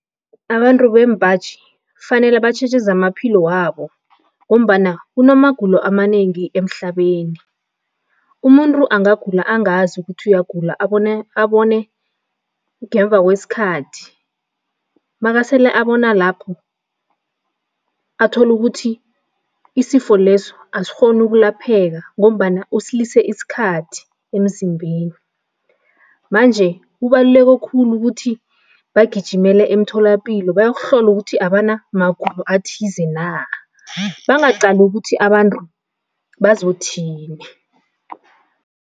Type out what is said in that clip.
Abantu bembaji kufanele batjheje zamaphilo wabo ngombana kunamagulo amanengi emhlabeni. Umuntu angagula angazi ukuthi uyagula, abone abone ngemva kwesikhathi, makasele abona lapho, athole ukuthi isifo leso asikghoni ukulapheka ngombana usilise isikhathi emzimbeni, manje kubaluleke khulu ukuthi bagijimele emtholapilo bayokuhlola ukuthi abanamagulo athize na, bangaqali ukuthi abantu bazothini.